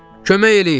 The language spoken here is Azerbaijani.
Kömək eləyin!